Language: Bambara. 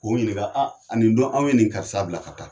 K'o ɲininka nin dɔn in, anw ye nin karisa bila ka taa.